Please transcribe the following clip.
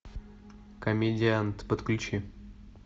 комедиант подключи